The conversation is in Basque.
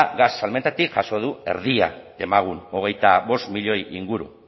gas salmentatik jaso du erdia demagun hogeita bost milioi inguru